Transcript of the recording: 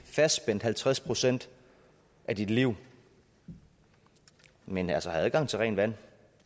fastspændt halvtreds procent af dit liv men altså have adgang til rent vand